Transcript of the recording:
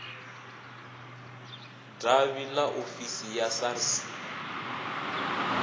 davhi ḽa ofisi ya sars